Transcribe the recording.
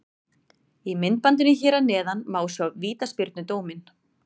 Í myndbandinu hér að neðan má sjá vítaspyrnudóminn.